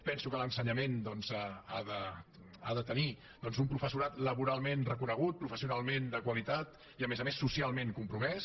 penso que l’ensenyament ha de tenir doncs un professorat laboralment reconegut professionalment de qualitat i a més a més socialment compromès